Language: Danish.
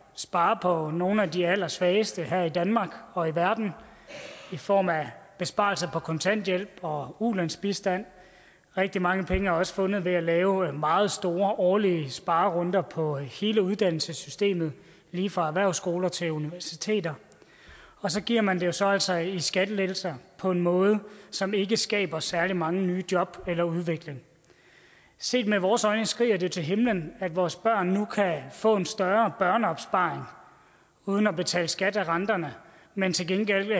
spare på nogle af de allersvageste her i danmark og i verden i form af besparelser på kontanthjælp og ulandsbistand rigtig mange penge er også fundet ved at lave meget store årlige sparerunder på hele uddannelsessystemet lige fra erhvervsskoler til universiteter så giver man det jo så altså i skattelettelser på en måde som ikke skaber særlig mange nye job eller udvikling set med vores øjne skriger det til himlen at vores børn nu kan få en større børneopsparing uden at betale skat af renterne men til gengæld